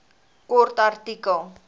kort artikel